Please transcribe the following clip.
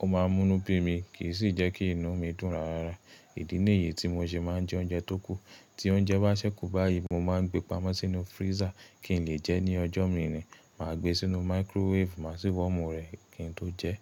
Ó ma múnú bí mi kì í sì jẹ́kí inú mi dùn rárá. Ìdí ǹ yìí tí mo se ma ń jẹ oúnjẹ tó kù. Tí oúnjẹ bá ṣẹ́kù báyìí mo ma ń gbé pamọ́ sínú freezer kí n lè jẹ ní ọjọ́ mírìn. Mà á gbé sínú microwave má sì wọ́mu rẹ̀ kí n tó jẹ.